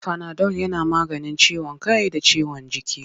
Fanadol yana maganin ciwon kai da ciwon jiki.